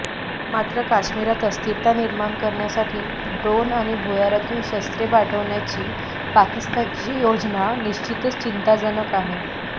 मात्र काश्मिरात अस्थिरता निर्माण करण्यासाठी ड्रोन आणि भूयारातून शस्त्रे पाठवण्याची पाकिस्तानची योजना निशिचतच चिंताजनक आहे